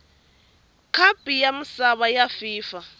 khapu ya misava ya fifa